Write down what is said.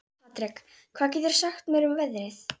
Patrek, hvað geturðu sagt mér um veðrið?